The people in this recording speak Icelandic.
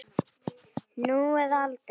Nú eða aldrei.